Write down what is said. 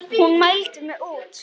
Hún mældi mig út.